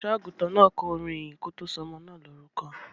Olùṣọ́-àgùntàn náà kọ orin ìyìn kí ó tó sọ ọmọ náà lórúkọ.